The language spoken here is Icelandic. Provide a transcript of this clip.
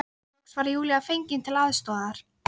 Loks var Júlía fengin til aðstoðar.